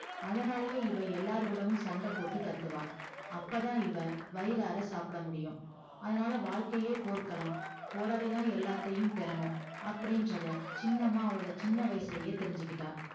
அதனாலேயே இவ எல்லார்கூடவும் சண்டை போட்டு கத்துவா அப்பதான் இவ வயிறார சாப்பிட முடியும் அதனால வாழ்க்கையே போர்க்களம் போராடி தான் எல்லாத்தையும் பெறணும் அப்படின்றத சின்னம்மா அவரோட சின்ன வயசுலயே தெரிஞ்சுகிட்டா